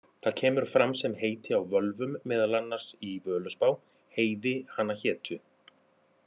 Það kemur fram sem heiti á völvum, meðal annars í Völuspá: Heiði hana hétu,